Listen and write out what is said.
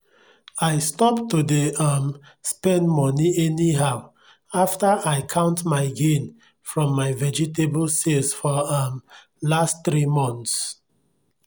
i stop to dey um spend money anyhow after i count my gain from my vegetable sales for um last three months.